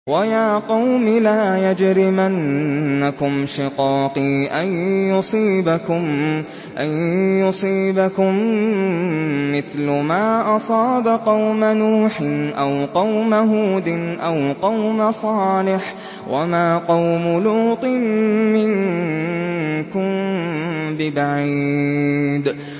وَيَا قَوْمِ لَا يَجْرِمَنَّكُمْ شِقَاقِي أَن يُصِيبَكُم مِّثْلُ مَا أَصَابَ قَوْمَ نُوحٍ أَوْ قَوْمَ هُودٍ أَوْ قَوْمَ صَالِحٍ ۚ وَمَا قَوْمُ لُوطٍ مِّنكُم بِبَعِيدٍ